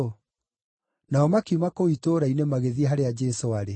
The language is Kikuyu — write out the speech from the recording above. Nao makiuma kũu itũũra-inĩ, magĩthiĩ harĩa Jesũ aarĩ.